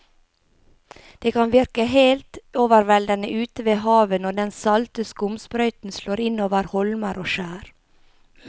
Det kan virke helt overveldende ute ved havet når den salte skumsprøyten slår innover holmer og skjær.